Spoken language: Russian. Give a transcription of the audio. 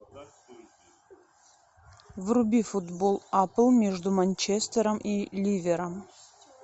вруби футбол апл между манчестером и ливером